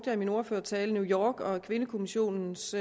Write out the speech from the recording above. jeg i min ordførertale new york og kvindekommissionens